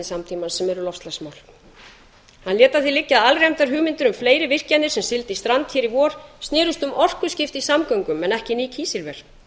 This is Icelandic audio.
samtímans sem eru loftslagsnám hann lét að því liggja að alræmdar hugmyndir um fleiri virkjanir sem sigldu í strand hér í vor snerust um orkuskipti í samgöngum en ekki ný kísilver